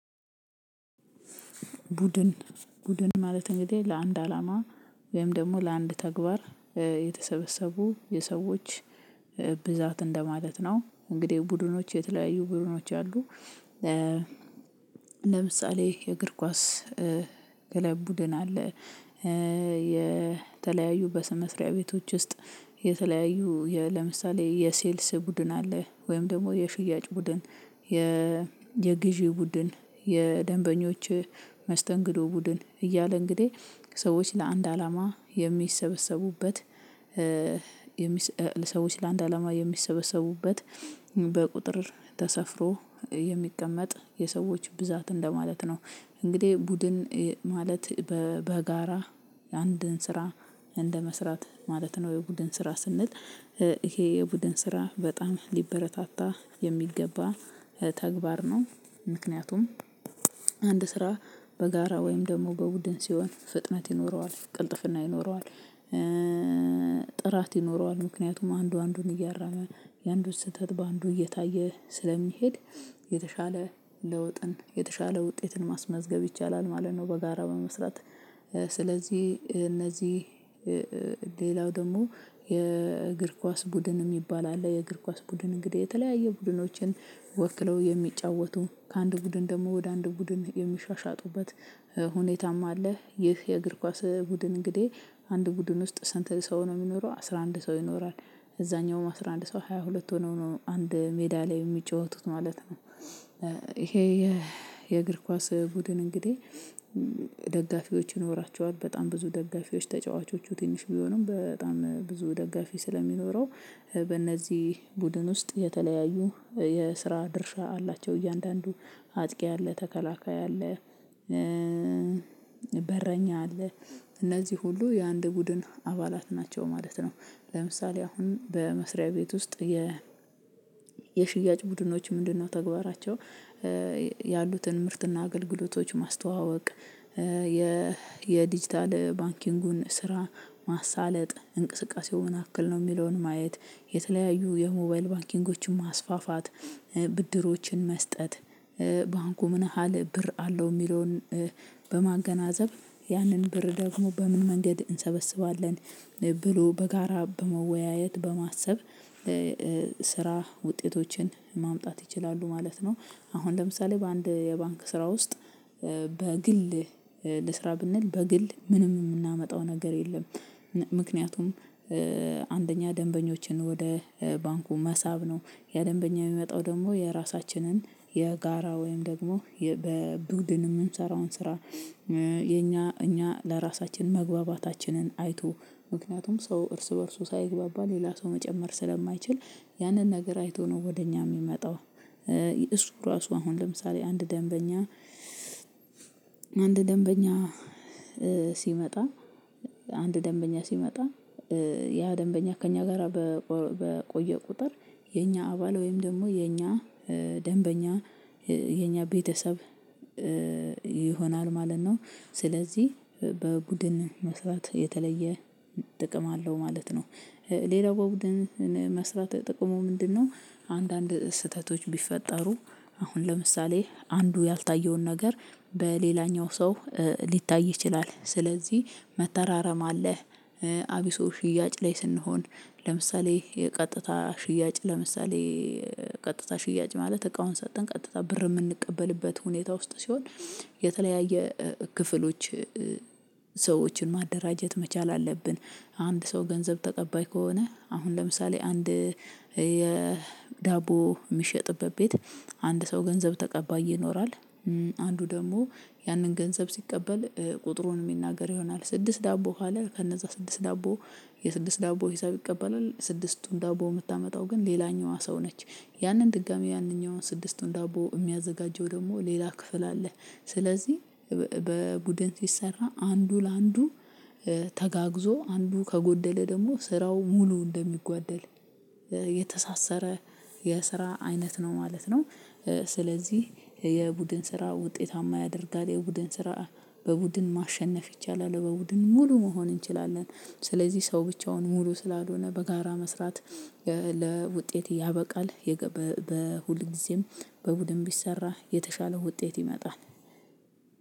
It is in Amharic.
ቡድን ቡድን ማለት እንግዲህ ለአንድ አላማ ወይም ደግሞ ለአንድ ተግባር የተሰበሰቡ የሰዎች ብዛት እንደማለት ነው። እንግዲህ ቡድኖች የተለያዩ ቡድኖች አሉ። ለምሳሌ የእግር ኳስ ክለብ ቡድን አለ። የተለያዩ በስመስሪያ ቤቶች ውስጥ የተለያዩ ለምሳሌ የሴልስ ቡድን አለ ወይም ደግሞ የሽያጭ ቡድን የ የግዢ ቡድን የደንበኞች መስተንግዶ ቡድን እያለ እንግዲህ ሰዎች ለአንድ አላማ የሚሰበሰቡበት። ለሰዎች ለአንድ አላማ የሚሰበሰቡበት በቁጥር ተሰፍሮ የሚቀመጥ የሰዎች ብዛት እንደማለት ነው። እንግዲህ ቡድን ማለት በጋራ አንድን ስራ እንደመስራት ማለት ነው። የቡድን ስራ ስንል ይሄ የቡድን ስራ በጣም ሊበረታታ የሚገባ ተግባር ነው። ምክንያቱም አንድ ስራ በጋራ ወይም ደግሞ በቡድን ሲሆን ፍጥነት ይኖረዋል ቅልጥፍና ይኖረዋል። ጥራት ይኖረዋል ምክንያቱም አንዱ አንዱን እያረመ የአንዱ ስህተት በአንዱ እየታየ ስለሚሄድ የተሻለ ለውጥን የተሻለ ውጤትን ማስመዝገብ ይቻላል ማለት ነው። በጋራ በመስራት ስለዚህ እነዚህ ሌላው ደግሞ የእግር ኳስ ቡድን የሚባል አለ የእግር ኳስ ቡድን እንግዲህ የተለያየ ቡድኖችን ወክለው የሚጫወቱ ከአንድ ቡድን ደግሞ ወደ አንድ ቡድን የሚሻሻጡበት ሁኔታማ አለ። ይህ የእግር ኳስ ቡድን እንግዲህ አንድ ቡድን ውስጥ ስንት ሰው ነው የሚኖረው አስራ አንድ ሰው ይኖራል እዛኛውም አስራ አንድ ሰው ሃያ ሁለት ሆነው ነው አንድ ሜዳ ላይ የሚጫወቱት ማለት ነው። ይሄ የእግር ኳስ ቡድን እንግዲህ ደጋፊዎች ይኖራቸዋል በጣም ብዙ ደጋፊዎች ተጫዋቾቹ ትንሽ ቢሆኑም በጣም ብዙ ደጋፊ ስለሚኖረው። በእነዚህ ቡድን ውስጥ የተለያዩ የስራ ድርሻ አላቸው እያንዳንዱ አጥቂ አለ ተከላካይ አለ። በረኛ አለ እነዚህ ሁሉ የአንድ ቡድን አባላት ናቸው ማለት ነው። ለምሳሌ አሁን በመስሪያ ቤት ውስጥ የ የሽያጭ ቡድኖች ምንድነው ተግባራቸው? ያሉትን ምርትና አገልግሎቶች ማስተዋወቅ የዲጂታል ባንኪንጉን ስራ ማሳለጥ እንቅስቃሴውን ምንአክል ነው የሚለውን ማየት የተለያዩ የሞባይል ባንኪንጎችን ማስፋፋት ብድሮችን መስጠት ባንኩ ምን ያህል ብር አለው የሚለውን በማገናዘብ ያንን ብር ደግሞ በምን መንገድ እንሰበስባለን? ብሎ በጋራ በመወያየት በማሰብ ስራ ውጤቶችን ማምጣት ይችላሉ ማለት ነው። አሁን ለምሳሌ በአንድ የባንክ ስራ ውስጥ በግል ልስራ ብንል በግል ምንም የምናመጣው ነገር የለም። ምክንያቱም አንደኛ ደንበኞችን ወደ ባንኩ መሳብ ነው ያደንበኛ የሚመጣው ደግሞ የራሳችንን የጋራ ወይም ደግሞ በቡድን የምንሰራውን ስራ የኛ እኛ ለራሳችን መግባባታችንን አይቶ ምክንያቱም ሰው እርስ በእርሱ ሳይግባባ ሌላ ሰው መጨመር ስለማይችል ያንን ነገር አይቶ ነው ወደ እኛ የሚመጣው። እሱ ራሱ አሁን ለምሳሌ አንድ ደንበኛ አንድ ደንበኛ ሲመጣ አንድ ደንበኛ ሲመጣ ያ ደንበኛ ከእኛ ጋራ በቆየ ቁጥር የኛ አባል ወይም ደግሞ የኛ ደንበኛ የኛ ቤተሰብ ይሆናል ማለት ነው። ስለዚህ በቡድን መስራት የተለየ ጥቅም አለው ማለት ነው። ሌላው በቡድን መስራት ጥቅሙ ምንድነው? አንዳንድ ስህተቶች ቢፈጠሩ አሁን ለምሳሌ አንዱ ያልታየውን ነገር በሌላኛው ሰው ሊታይ ይችላል። ስለዚህ መተራረም አለህ። አቢሶ ሽያጭ ላይ ስንሆን ለምሳሌ የቀጥታ ሽያጭ ለምሳሌ ቀጥታ ሽያጭ ማለት እቃውን ሰጠን ቀጥታ ብር የምንቀበልበት ሁኔታ ውስጥ ሲሆን የተለያየ ክፍሎች ሰዎችን ማደራጀት መቻል አለብን። አንድ ሰው ገንዘብ ተቀባይ ከሆነ አሁን ለምሳሌ አንድ የዳቦ የሚሸጥበት ቤት አንድ ሰው ገንዘብ ተቀባይ ይኖራል። አንዱ ደግሞ ያንን ገንዘብ ሲቀበል ቁጥሩን የሚናገር ይሆናል ስድስት ዳቦ ካለ ከነዛ ስድስት ዳቦ የስድስት ዳቦ ሂሳብ ይቀበላል ስድስቱን ዳቦ የምታመጣው ግን ሌላኛዋ ሰው ነች። ያንን ድጋሚ ያንኛዋን ስድስቱን ዳቦ የሚያዘጋጀው ደግሞ ሌላ ክፍል አለ። ስለዚህ በቡድን ሲሰራ አንዱ ለአንዱ ተጋግዞ አንዱ ከጎደለ ደግሞ ስራው ሙሉ እንደሚጓደል የተሳሰረ የስራ አይነት ነው ማለት ነው። ስለዚህ የቡድን ስራ ውጤታማ ያደርጋል የቡድን ስራ። በቡድን ማሸነፍ ይቻላል በቡድን ሙሉ መሆን እንችላለን። ስለዚህ ሰው ብቻውን ሙሉ ስላልሆነ በጋራ መስራት ለውጤት ያበቃል። ሁልጊዜም በቡድን ቢሰራ የተሻለው ውጤት ይመጣል።